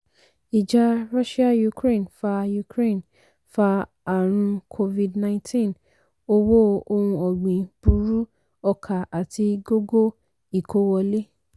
ìjà russia- ukraine fa ukraine fa ààrùn covid-19 owó ohun ọ̀gbìn burú ọkà àti gógó ìkó wọlé.